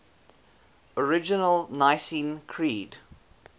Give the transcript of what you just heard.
original nicene creed